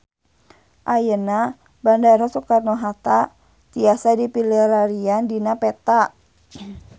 Ayeuna Bandara Soekarno Hatta tiasa dipilarian dina peta